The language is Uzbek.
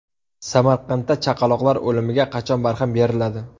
Samarqandda chaqaloqlar o‘limiga qachon barham beriladi?.